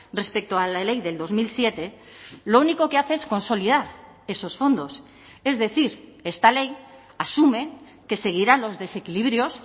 respecto a la ley del dos mil siete lo único que hace es consolidar esos fondos es decir esta ley asume que seguirán los desequilibrios